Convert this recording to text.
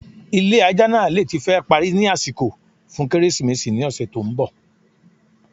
ilé ajá naa le ti fẹ́ parí ni àsìkò fun kérésìmésì ni ọ̀sè tí ń bọ̀.